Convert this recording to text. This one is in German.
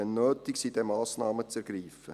Wenn nötig sind dann Massnahmen zu ergreifen.